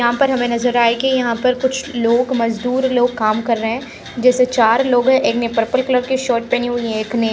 यहाँ पर हमे नजर आएगी यहाँ पर कुछ लोग मजदुर लोग काम कर रहे है जैसे चार लोग है एक ने पर्पल कलर का शर्ट पहना है और एक ने --